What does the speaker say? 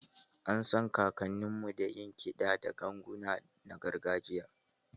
An san kakanninmu da yin kiɗa da ganguna na gargajiya